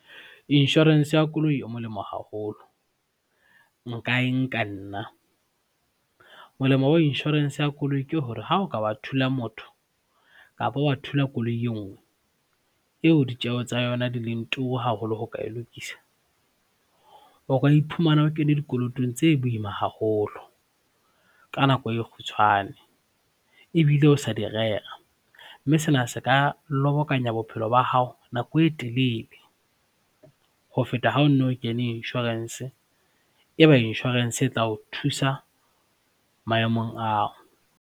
Insurance ya koloi e molemo haholo, nka e nka nna. Molemo wa insurance ya koloi ke hore ha o ka wa thula motho kapa wa thula koloi e nngwe eo ditjeho tsa yona di leng turu haholo ho ka e lokisa, o ka iphumana o kene dikolotong tse boima haholo ka nako e kgutshwane ebile o sa di rera, mme sena se ka lobokanya bo bophelo ba hao nako e telele ho feta ha o no o kene insurance ebe insurance e tla o thusa maemong ao.